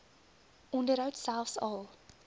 onderhoud selfs al